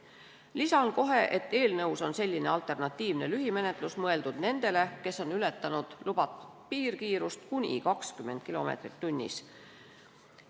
Lisan kohe, et eelnõus on selline alternatiivne lühimenetlus mõeldud nendele, kes on ületanud lubatud piirkiirust kuni 20 kilomeetrit tunnis.